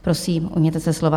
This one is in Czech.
Prosím, ujměte se slova.